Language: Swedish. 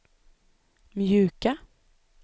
mjuka